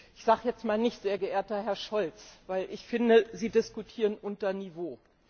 Ich sage jetzt mal nicht sehr geehrter Herr Scholz, weil ich finde, Sie diskutieren unter Niveau.